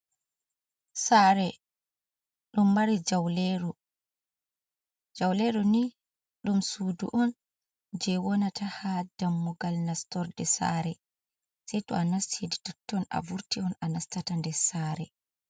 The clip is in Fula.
Saare ɗum mari jauleru. Jauleru ni ɗum suudu on jei wonata ha dammugal nastorde saare sai to a nasti totton a vurti on a nastata nder sare.